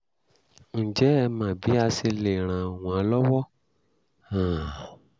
ǹjẹ́ ẹ mọ bí a ṣe lè ràn wọ́n lọ́wọ́? um